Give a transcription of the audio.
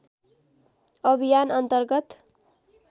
अभियान अन्तर्गत